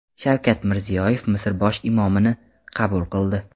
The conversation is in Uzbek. Shavkat Mirziyoyev Misr bosh imomini qabul qildi.